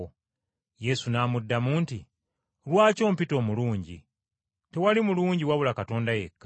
Yesu n’amuddamu nti, “Lwaki ompita omulungi? Tewali mulungi n’omu wabula Katonda yekka.